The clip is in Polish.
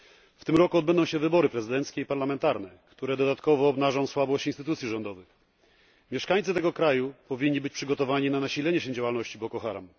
W tym roku odbędą się wybory prezydenckie i parlamentarne, które dodatkowo obnażą słabość instytucji rządowych. Mieszkańcy tego kraju powinni być przygotowani na nasilenie się działalności Boko Haram.